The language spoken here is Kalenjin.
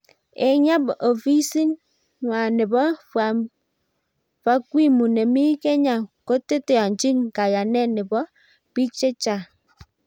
Eng nyap ofisin nwa nebo fakwimu nemi Kenys koteteanchi kayanet neb pik chechang